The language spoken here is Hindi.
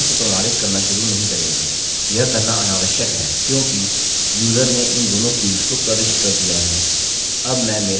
हम फॉर्म को प्रमाणित करना शुरू नहीं करेंगे यह करना अनावश्यक है क्योंकि यूजर ने इन दोनों फील्ड्स को प्रविष्ट कर दिया है